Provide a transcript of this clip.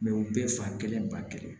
u bɛɛ fa kelen ba kelen